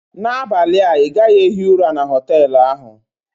N'abalị a ị gaghị ehi ụra na họtel ahụ!